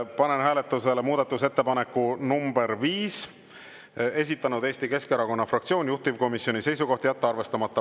Panen hääletusele muudatusettepaneku nr 5, mille on esitanud Eesti Keskerakonna fraktsioon ja juhtivkomisjoni seisukoht on jätta arvestamata.